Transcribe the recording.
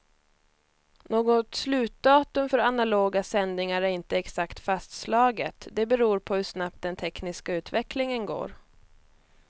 Något slutdatum för analoga sändningar är inte exakt fastslaget, det beror på hur snabbt den tekniska utvecklingen går.